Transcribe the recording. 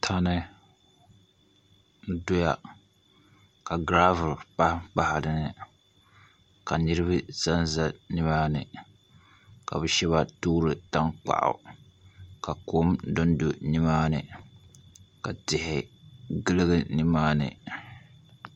Tandi n doya ka giravul ka niraba ʒɛnʒɛ nimaani ka bi shab toori panpa dinni tankpaɣu ka kom dondo nimaani ka tihi giligi nimaani